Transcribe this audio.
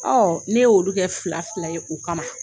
Ɔ ne ye olu kɛ fila fila ye o kama